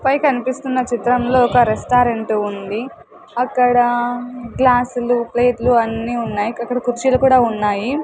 పై కన్పిస్తున్న చిత్రంలో ఒక రెస్టారెంటు ఉంది అక్కడ గ్లాస్సులు ప్లేట్లు అన్ని ఉన్నాయి అక్కడ కుర్చీలు కూడా ఉన్నాయి.